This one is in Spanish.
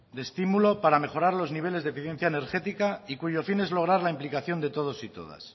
de estímulo para mejorar los niveles de eficiencia energética y cuyo fin es lograr la implicación de todos y todas